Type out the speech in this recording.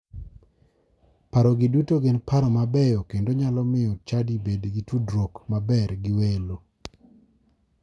Paro gi duto gin paro mabeyo kendo nyalo miyo chadi bed gi tudruok maber gi welo.